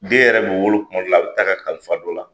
Den yɛrɛ bɛ wolo kuma dɔ la, a bɛ ta ka kalifa dɔ la.